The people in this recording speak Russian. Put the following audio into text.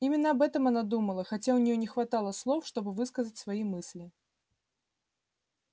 именно об этом она думала хотя у неё не хватало слов чтобы высказать свои мысли